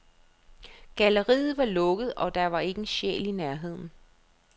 Galleriet var lukket, og der var ikke en sjæl i nærheden.